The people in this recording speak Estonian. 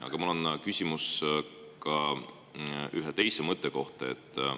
Aga mul on küsimus ühe teise mõtte kohta.